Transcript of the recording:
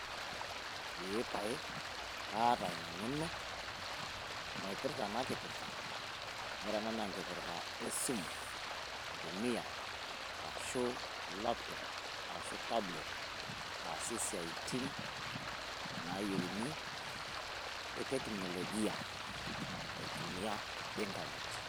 Eeeh paye kaata ina eng`eno naipirta ena kipirta. Ore ena naa enkipirta e simu intumia arashu laptop arashu tablet aasie isiaiti naayieuni e teknolojia aitumia internet.